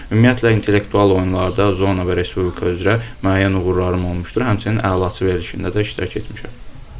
Ümumiyyətlə intellektual oyunlarda zona və Respublika üzrə müəyyən uğurlarım olmuşdur, həmçinin Əlaçı verilişində də iştirak etmişəm.